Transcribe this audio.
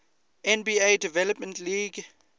nba development league